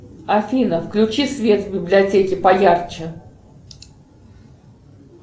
афина включи свет в библиотеке по ярче